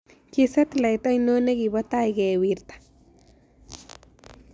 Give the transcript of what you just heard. Ki satelite ainon ne ki po tai kewirta